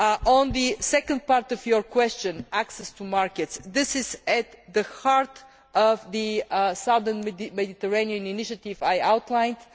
On the second part of your question, access to markets, this is at the heart of the southern Mediterranean initiative which I outlined.